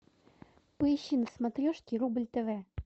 поищи на смотрешке рубль тв